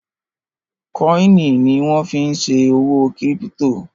kọ́ìnì ni wọ́n fí n ṣe òwò kírípítò